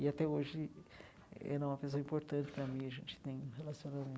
E, até hoje, ela é uma pessoa importante para mim, a gente tem um